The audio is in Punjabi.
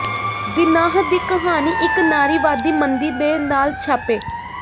ਦੀਨਾਹ ਦੀ ਕਹਾਣੀ ਇਕ ਨਾਰੀਵਾਦੀ ਮੰਦੀ ਦੇ ਨਾਲ ਛਾਪੇ